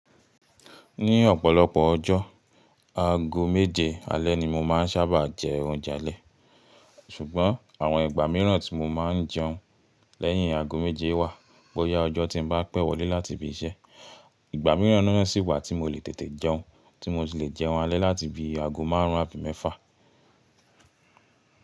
Ní ọ̀pọ̀lọpọ̀ ọjọ́, ago méje alẹ́ ni mo máa ń sábà jẹ oúnjẹ alẹ́. Ṣùgbọ́n àwọn ìgbà mìíràn tí mo máa ń jẹun lẹ́yìn ago méje wà bóyá ọjọ́ tí ń bá pẹ́ wọlé láti ibi iṣẹ́. Ìgbà mìíràn náà sì wà tí mo lè tètè jẹun, tí mo sì le jẹun alẹ́ láti bi ago márùn-ún àbí mẹ́fà.